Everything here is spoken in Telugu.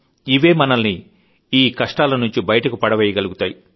ఇవే మనల్ని ఈ కష్టాల నుంచి బయట పడవేయగల్గుతాయి